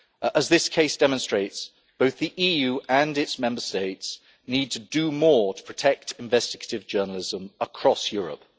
As this case demonstrates, both the EU and its Member States need to do more to protect investigative journalism across Europe.